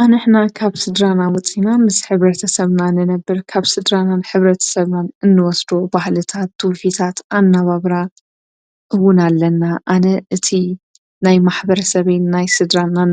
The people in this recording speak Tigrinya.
ሕብረተሰብን ስድራቤትን መሰረት ህይወት ሰብ እዮም። ስድራቤት ቀዳማይ ቦታ ፍቕሪን ምዕባለን ዝረክብ እያ። ሕብረተሰብ ሰባት